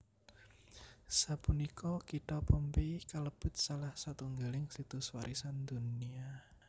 Sapunika kitha Pompeii kalebet salah satunggaling Situs Warisan Dunia